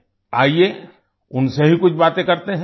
आईये उनसे ही कुछ बातें करते हैं